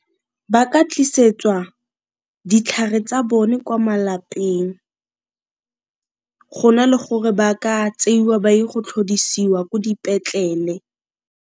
Ba ka tlisetswa ditlhare tsa bone kwa malapeng go na le gore ba ka tseiwa ba ye go tlhodisiwa ko dipetlele.